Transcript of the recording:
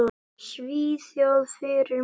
Svíþjóð fyrir mér.